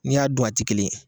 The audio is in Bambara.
N'i y'a dun a ti kelen ye.